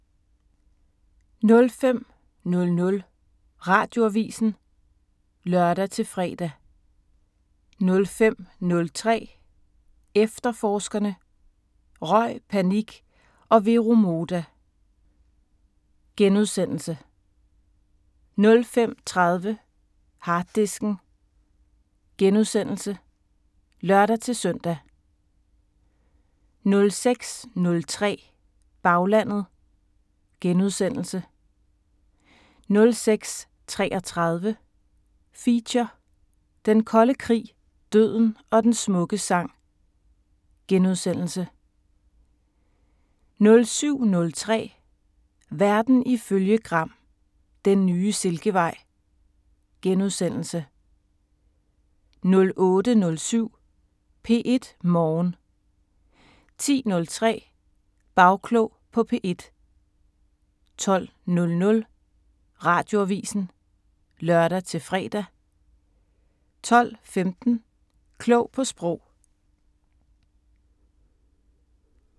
05:00: Radioavisen (lør-fre) 05:03: Efterforskerne: Røg, panik og Vero Moda * 05:30: Harddisken *(lør-søn) 06:03: Baglandet * 06:33: Feature: Den Kolde kirke, døden og den smukke sang * 07:03: Verden ifølge Gram: Den nye silkevej * 08:07: P1 Morgen 10:03: Bagklog på P1 12:00: Radioavisen (lør-fre) 12:15: Klog på Sprog